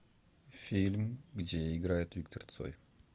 фильм где играет виктор цой